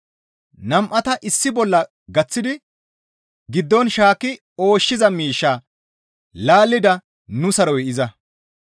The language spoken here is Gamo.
Nam7ata issi bolla gaththidi giddon shaakki ooshshiza miishshaa laallida nu saroy iza.